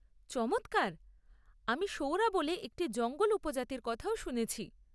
চমৎকার! আমি সৌরা বলে একটি জঙ্গল উপজাতির কথাও শুনেছি।